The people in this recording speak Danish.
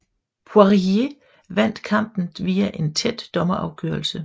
Poirier vandt kampen via en tæt dommerafgørelse